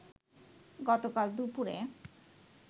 গতকাল দুপুরে